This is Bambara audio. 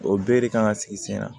O bɛɛ de kan ka sigi sen na